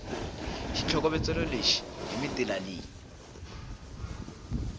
xitlhokovetselo lexi hi mitila leyi